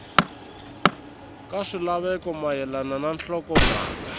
ka swilaveko mayelana na nhlokomhaka